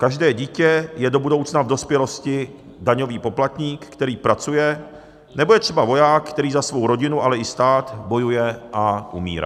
Každé dítě je do budoucna v dospělosti daňový poplatník, který pracuje, nebo je třeba voják, který za svou rodinu, ale i stát bojuje a umírá.